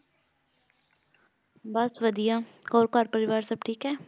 ਬਸ ਵਧੀਆ ਹੋਰ ਘਰ ਪਰਿਵਾਰ ਸਭ ਠੀਕ ਹੈ?